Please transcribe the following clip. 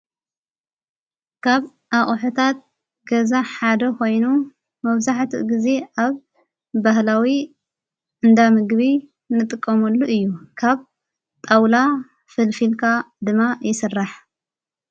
ካብ ኣቁሕታት ገዛ ሓደ ኾይኑ መፍዛሕት ጊዜ ኣብ በህላዊ እንዳምግቢ ንጥቆሙሉ እዩ። ካብ ጣውላ ፍልፊልካ ድማ ይሠራሕ።